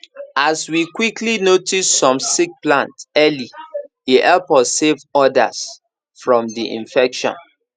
as we quickly notice some sick plants early e help us save others from the infection